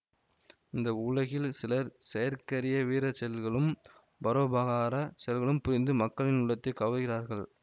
இந்த உலகில் சிலர் செயற்கரிய வீர செயல்களும் பரோபகாரச் செயல்களும் புரிந்து மக்களின் உள்ளத்தை கவர்கிறார்கள்